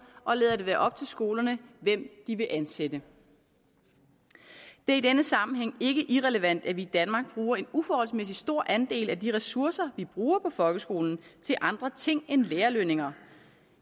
og lader det være op til skolerne hvem de vil ansætte det er i denne sammenhæng ikke irrelevant at vi i danmark bruger en uforholdsmæssig stor andel af de ressourcer vi bruger på folkeskolen til andre ting end lærerlønninger